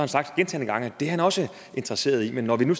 sagt gentagne gange at det er han også interesseret i men når vi nu